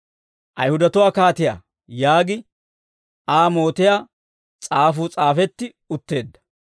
«Ayihudatuwaa kaatiyaa» yaagi Aa mootiyaa s'aafuu s'aafeetti utteedda.